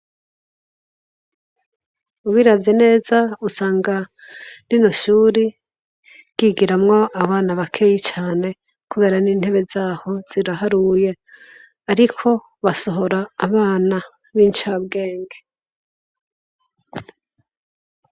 Ubiravye neza, usanga rino shuri ryigiramwo abana bakeyi cane, kubera n'intebe zaho ziraharuye. Ariko basohora abana b'incabwenge.